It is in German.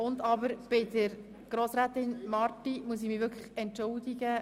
Ich muss mich bei Grossrätin Marti entschuldigen.